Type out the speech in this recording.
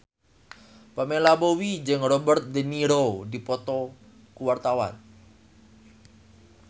Pamela Bowie jeung Robert de Niro keur dipoto ku wartawan